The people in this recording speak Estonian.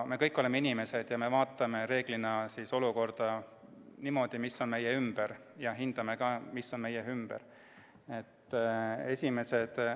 Me kõik oleme inimesed ja vaatame reeglina olukorda, mis on meie ümber, ja ka hindame, mis on meie ümber.